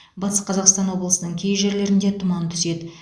батыс қазақстан облысының кей жерлерінде тұман түседі